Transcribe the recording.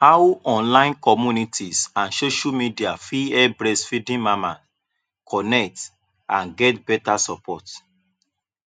How online community and social media fit help breastfeeding mama connect and get beta support?